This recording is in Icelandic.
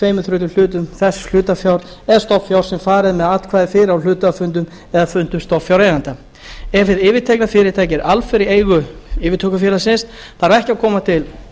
tveir þriðju hlutum þess hlutafjár eða stofnfjár sem farið er með atkvæði fyrir á hluthafafundum eða fundum stofnfjáreigenda ef hið yfirtekna fyrirtæki er alfarið í eigu yfirtökufélagsins þarf ekki að koma til